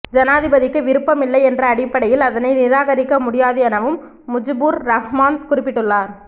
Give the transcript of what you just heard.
ஜனாதிபதிக்கு விருப்பம் இல்லை என்ற அடிப்படையில் அதனை நிராகரிக்க முடியாது எனவும் முஜிபுர் ரஹ்மான் குறிப்பிட்டுள்ளார்